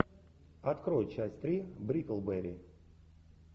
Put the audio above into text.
открой часть три бриклберри